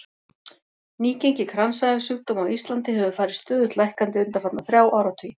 Nýgengi kransæðasjúkdóma á Íslandi hefur farið stöðugt lækkandi undanfarna þrjá áratugi.